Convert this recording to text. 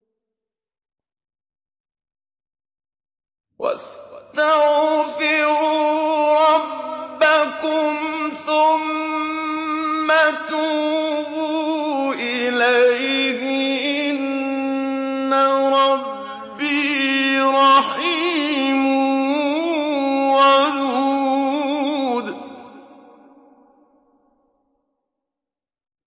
وَاسْتَغْفِرُوا رَبَّكُمْ ثُمَّ تُوبُوا إِلَيْهِ ۚ إِنَّ رَبِّي رَحِيمٌ وَدُودٌ